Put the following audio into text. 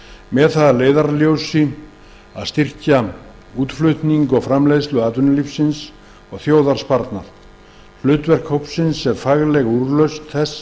með það að leiðarljósi að styrkja útflutning og framleiðslu atvinnulífsins og þjóðarsparnað hlutverk hópsins er fagleg úrlausn þess